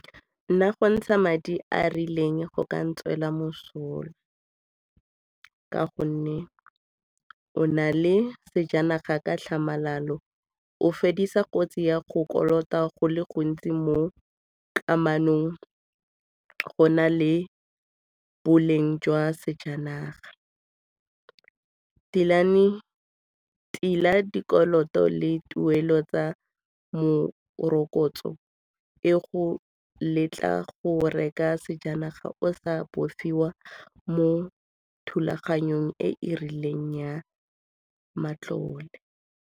Nna go ntsha madi a a rileng go ka nna tswela mosola ka gonne o na le sejanaga ka tlhamalalo, o fedisa kotsi ya go kolota go le gontsi mo kamanong go na le boleng jwa sejanaga. Tila dikoloto le tuelo tsa morokotso e go letla go reka sejanaga o sa bofiwa mo thulaganyong e e rileng ya matlole.